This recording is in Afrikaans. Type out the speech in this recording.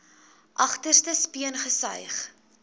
agterste speen gesuig